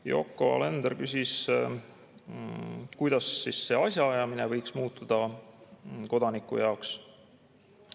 Yoko Alender küsis, kuidas see asjaajamine võiks muutuda kodaniku jaoks.